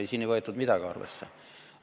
Ei, siin ei võetud midagi arvesse.